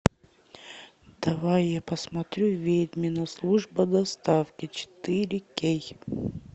давай я посмотрю ведьмина служба доставки четыре кей